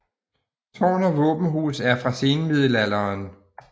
Tårn og våbenhus er fra senmiddelalderen